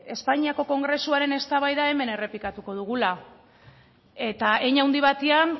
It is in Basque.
espainiako kongresuaren eztabaida hemen errepikatuko dugula eta hein handi batean